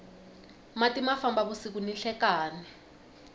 mati ma famba vusiku ni nhlekani